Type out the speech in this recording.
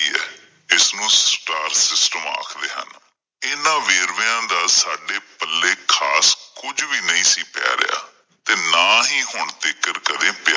ਇਸ ਨੂੰ star system ਆਖਦੇ ਹਨ l ਇਹਨਾਂ ਵੇਰਵਿਆਂ ਦਾ ਸਾਡੇ ਪੱਲੇ ਖ਼ਾਸ ਕੁਝ ਵੀ ਨਹੀਂ ਸੀ ਪੈ ਰਿਹਾ ਤੇ ਨਾ ਹੀ ਹੁਣ ਤੀਂਕਰ ਕਦੇ ਪਿਆ